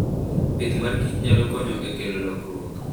Pith mar kich nyalo konyo e kelo lokruok.